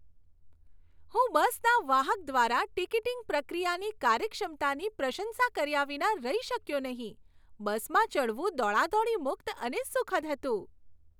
હું બસના વાહક દ્વારા ટિકિટિંગ પ્રક્રિયાની કાર્યક્ષમતાની પ્રશંસા કર્યા વિના રહી શક્યો નહીં. બસમાં ચઢવું દોડાદોડી મુક્ત અને સુખદ હતું.